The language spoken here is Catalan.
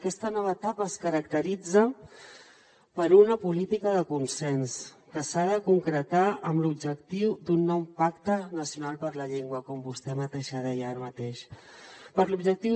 aquesta nova etapa es caracteritza per una política de consens que s’ha de concretar amb l’objectiu d’un nou pacte nacional per la llengua com vostè mateixa deia ara mateix amb l’objectiu